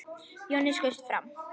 Jonni skaust fram.